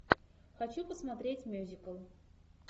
хочу посмотреть мюзикл